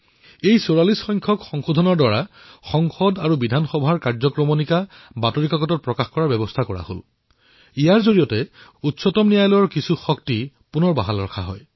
যিদৰে ৪৪তম সংশোধনীৰ জৰিয়তে সংসদ আৰু বিধানসভাৰ কাৰ্যবাহীৰ খবৰ বাতৰি কাকতৰ জৰিয়তে প্ৰকাশৰ ব্যৱস্থা কৰা হৈছিল ইয়াৰ অধীনত উচ্চতম ন্যায়ালয়ৰ কিছুমান ক্ষমতা বাহাল ৰখা হল